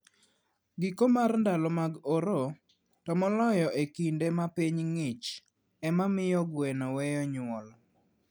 Giko mar ndalo mag oro, to moloyo e kinde ma piny ng'ich, ema miyo gweno weyo nyuol.